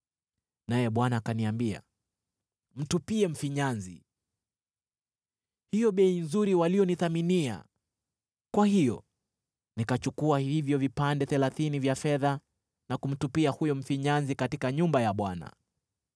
Naye Bwana akaniambia, “Mtupie mfinyanzi,” hiyo bei nzuri waliyonithaminia! Kwa hiyo nikachukua hivyo vipande thelathini vya fedha na kumtupia huyo mfinyanzi katika nyumba ya Bwana .